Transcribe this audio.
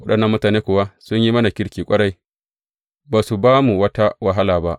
Waɗannan mutane kuwa sun yi mana kirki ƙwarai, ba su ba mu wata wahala ba.